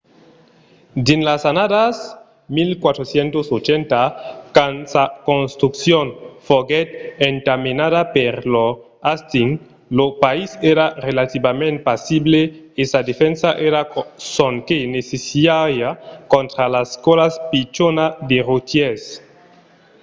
dins las annadas 1480 quand sa construccion foguèt entamenada per lord hastings lo país èra relativament pasible e sa defensa èra sonque necessària contra las còlas pichonas de rotièrs